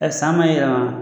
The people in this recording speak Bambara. san ma yɛlɛma